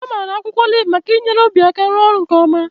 Amara akwụkwọ oliv maka inyere obi aka ịrụ ọrụ nke ọma.